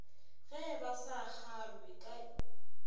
ge ba sa kgalwe ke